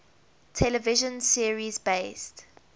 television series based